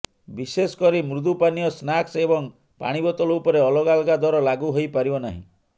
ବିଶେଷ କରି ମୃଦୁପାନୀୟ ସ୍ନାକ୍ସ ଏବଂ ପାଣିବୋତଲ ଉପରେ ଅଲଗା ଅଲଗା ଦର ଲାଗୁ ହୋଇପାରିବ ନାହିଁ